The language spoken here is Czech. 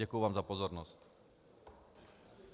Děkuji vám za pozornost.